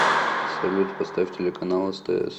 салют поставь телеканал стс